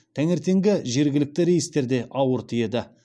таңертеңгі жергілікті рейстер де ауыр тиеді